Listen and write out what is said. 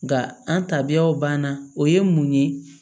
Nga an tabiyaw banna o ye mun ye